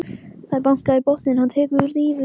Það er bankað í botninn, hann tekur dýfu.